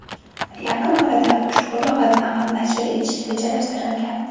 Yaqin orada ushbu lug‘atni ham nashr etish rejalashtirilgan.